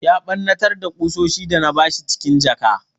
Ya ɓarnatar da ƙusoshin da na bashi cikin jaka.